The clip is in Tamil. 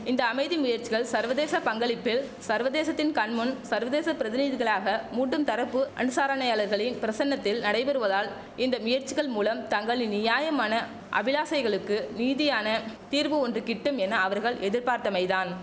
இந்த அமைதி முயற்சிகள் சர்வதேச பங்களிப்பில் சர்வதேசத்தின் கண் முன் சர்வதேச பிரதிநிதிகளாக மூட்டும் தரப்பு அனுசாரணையாளர்களின் பிரசன்னத்தில் நடைபெறுவதால் இந்த முயற்சிகள் மூலம் தங்களின் நியாயமான அபிலாஷைகளுக்கு நீதியான தீர்வு ஒன்று கிட்டும் என அவர்கள் எதிர்பார்த்தமைதான்